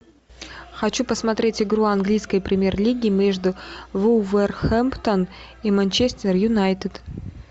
хочу посмотреть игру английской премьер лиги между вулверхэмптон и манчестер юнайтед